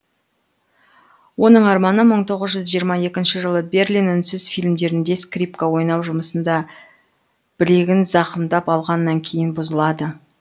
оның арманы мың тоғыз жүз жиырма екінші жылы берлин үнсіз фильмдерінде скрипка ойнау жұмысында білегін зақымдап алғаннан кейін бұзылады